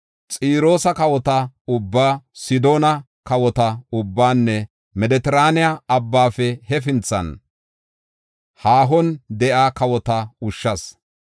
Xiroosa kawota ubbaa, Sidoona kawota ubbaanne Medetiraane Abbaafe hefinthan, haahon de7iya kawota ushshas.